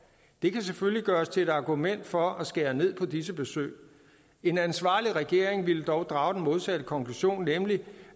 det kan selvfølgelig gøres til et argument for at skære ned på disse besøg en ansvarlig regering ville dog drage den modsatte konklusion nemlig